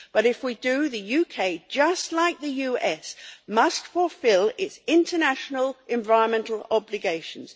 But if we do, the UK, just like the US, must fulfil its international environmental obligations.